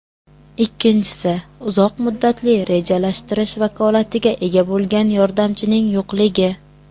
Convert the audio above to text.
Ikkinchisi, uzoq muddatli rejalashtirish vakolatiga ega bo‘lgan yordamchining yo‘qligi.